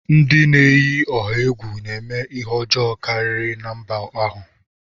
Ndị na-eyi ọha egwu na-eme ihe ọjọọ karịri na mba ahụ.